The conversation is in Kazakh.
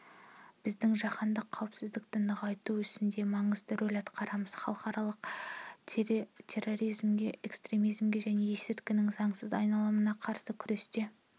біз жаһандық қауіпсіздікті нығайту ісінде маңызды рөл атқарамыз халықаралық терроризмге экстремизмге және есірткінің заңсыз айналымына қарсы күресте